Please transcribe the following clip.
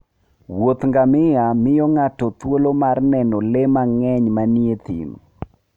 Wuoth ngamia miyo ng'ato thuolo mar neno le mang'eny manie thim.